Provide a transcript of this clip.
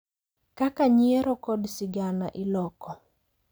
Kaka nyiero kod sigana iloko